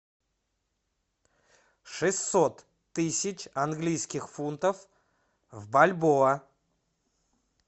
шестьсот тысяч английских фунтов в бальбоа